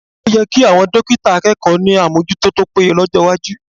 O yẹ kí àwọn dọ́kítà akẹ́kọ̀ọ́ ní àmójútó tó péye lọ́jọ́ iwájú